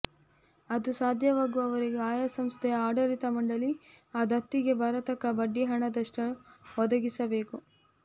ಅದು ಸಾಧ್ಯವಾಗುವರೆಗೆ ಆಯಾ ಸಂಸ್ಥೆಯ ಆಡಳಿತ ಮಂಡಲಿ ಆ ದತ್ತಿಗೆ ಬರತಕ್ಕ ಬಡ್ಡಿ ಹಣದಷ್ಟನ್ನು ಒದಗಿಸಬೇಕು